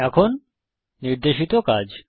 এখন নির্দেশিত কাজ